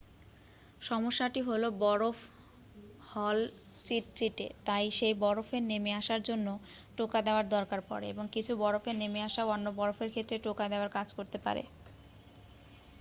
সমস্যাটি হল বরফ হল চিটচিটে তাই সেই বরফের নেমে আসার জন্য টোকা দেওয়ার দরকার পড়ে এবং কিছু বরফের নেমে আসা অন্য বরফের ক্ষেত্রে টোকা দেওয়ার কাজ করতে পারে